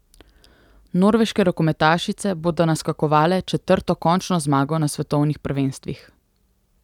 Norveške rokometašice bodo naskakovale četrto končno zmago na svetovnih prvenstvih.